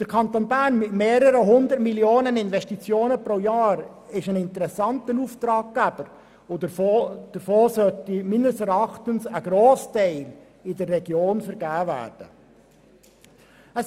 Der Kanton Bern mit Investitionen von mehreren 100 Millionen pro Jahr ist ein interessanter Auftraggeber, und von diesen Aufträgen sollte meines Erachtens ein Grossteil in der Region vergeben werden.